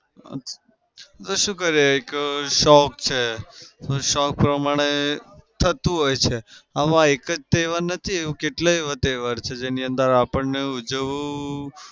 હવે શું કરીએ એક શોખ છે શોખ પ્રમાણે થતું હોઈ છે. આમાં એક જ તહેવાર નથી કેટલાય એવા તહેવાર છે જેની અંદર આપણને ઉજવવું